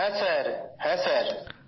হ্যাঁ স্যারহ্যাঁ স্যার